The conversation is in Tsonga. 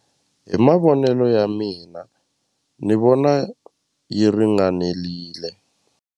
Hi mavonelo ya mina ni vona yi ringanelile.